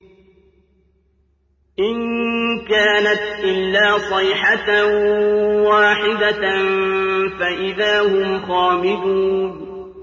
إِن كَانَتْ إِلَّا صَيْحَةً وَاحِدَةً فَإِذَا هُمْ خَامِدُونَ